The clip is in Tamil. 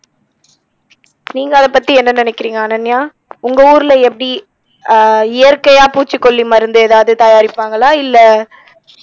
நீங்க அதை பத்தி என்ன நினைக்கிறிங்க அனன்யா உங்க ஊருல எப்படி அஹ் இயற்கையா பூச்சிக்கொல்லி மருந்து எதாவது தயாரிப்பாங்களா இல்ல